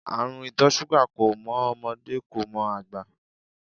Àrùn ìtọ̀ ṣúgà kò mọ ọmọdé, kò mọ àgbà.